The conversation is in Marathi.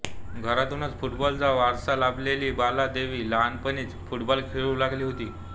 घरातूनच फुटबॉलचा वारसा लाभलेली बाला देवी लहानपणीच फुटबॉल खेळू लागली होती